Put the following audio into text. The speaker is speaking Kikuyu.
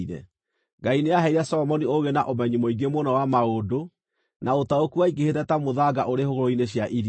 Ngai nĩaheire Solomoni ũũgĩ na ũmenyi mũingĩ mũno wa maũndũ, na ũtaũku waingĩhĩte ta mũthanga ũrĩ hũgũrũrũ-inĩ cia iria.